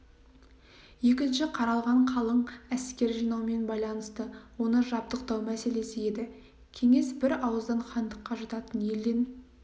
екінші қаралған қалың әскер жинаумен байланысты оны жабдықтау мәселесі еді кеңес бір ауыздан хандыққа жататын елден